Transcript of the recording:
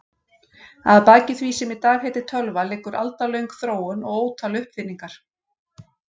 Að baki því sem í dag heitir tölva liggur aldalöng þróun og ótal uppfinningar.